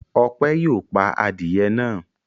Ọpẹ́ yóò pa adìẹ náà.